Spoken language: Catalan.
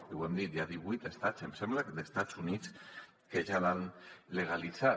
i ho hem dit hi ha divuit estats em sembla d’estats units que ja l’han legalitzat